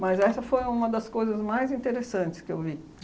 Mas essa foi uma das coisas mais interessantes que eu vi.